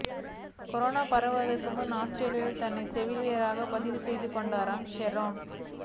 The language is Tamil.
கொரோனா பரவுவதற்கு முன்பே ஆஸ்திரேலியாவில் தன்னை செவிலியராகப் பதிவு செய்து கொண்டார் ஷெரோன்